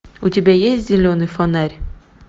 у тебя есть зеленый фонарь